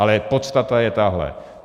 Ale podstata je tahle.